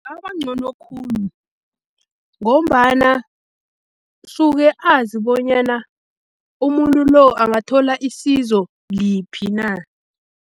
Kungaba ncono khulu ngombana suke azi bonyana umuntu lo angathola isizo liphi na.